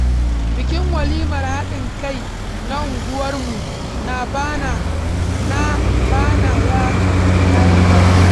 Bikin walimar haɗin kai na unguwarmu na bana ya ƙayatar.